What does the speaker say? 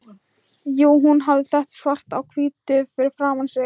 Jú, hún hafði þetta svart á hvítu fyrir framan sig.